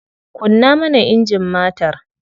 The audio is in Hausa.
Kunna mana injin matar.